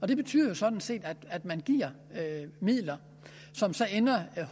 det betyder sådan set at man giver midler som ender